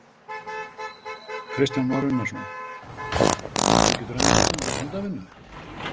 Kristján Már Unnarsson: Þú getur enn þá stundað handavinnu?